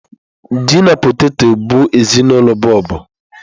Ji na potetọ bụ ezinụlọ bọlbụ.